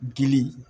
Dili